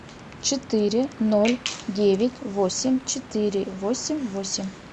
четыре ноль девять восемь четыре восемь восемь